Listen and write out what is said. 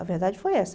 A verdade foi essa.